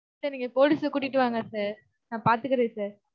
sir நீங்க police அ கூட்டிட்டு வாங்க sir. நான் பார்த்துக்கறேன் sir.